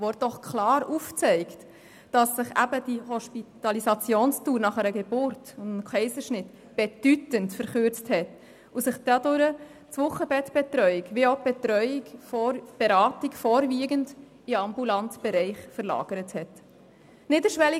Sie zeigt doch klar auf, dass sich die Hospitalisationsdauer nach einer Geburt oder nach einem Kaiserschnitt bedeutend verkürzt hat, und dass dadurch die Betreuung des Wochenbetts sowie die Beratung vorwiegend in den ambulanten Bereich verlagert wurden.